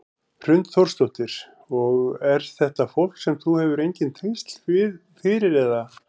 Hrund Þórsdóttir: Og er þetta fólk sem þú hefur engin tengsl við fyrir eða?